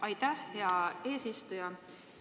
Aitäh, hea eesistuja!